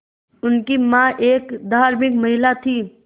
उनकी मां एक धार्मिक महिला थीं